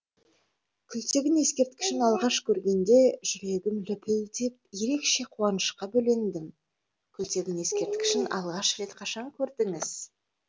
күлтегін ескерткішін алғаш көргенде жүрегім лүпілдеп ерекше қуанышқа бөлендім күлтегін ескерткішін алғаш рет қашан көрдіңіз